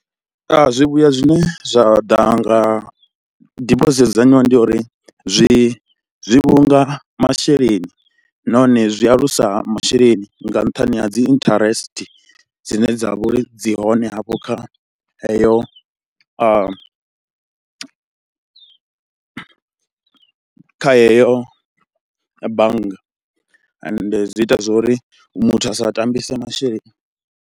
Zwivhuya zwine zwa ḓa nga dibosithi yo dzudzanywaho ndi ya uri, zwi zwi vhulunga masheleni nahone zwi alusa masheleni nga nṱhani ha dzi interest dzine dza vha uri dzi hone hafho kha heyo, kha heyo bannga ende zwi ita zwo ri muthu a sa tambise masheleni.